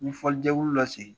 N ye fɔlijɛkulu dɔ sigi.